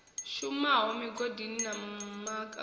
shumaho migodini na ma akani